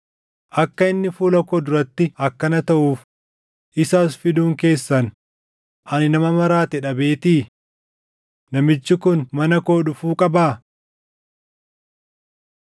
Akka inni fuula koo duratti akkana taʼuuf isa as fiduun keessan ani nama maraate dhabeetii? Namichi kun mana koo dhufuu qabaa?”